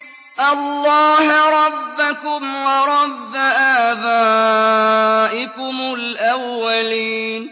اللَّهَ رَبَّكُمْ وَرَبَّ آبَائِكُمُ الْأَوَّلِينَ